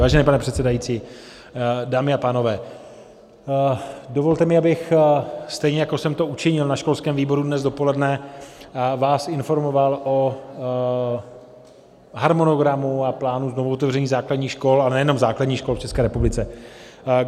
Vážený pane předsedající, dámy a pánové, dovolte mi, abych stejně jako jsem to učinil na školském výboru dnes dopoledne, vás informoval o harmonogramu a plánu znovuotevření základních škol, a nejenom základních škol, v České republice.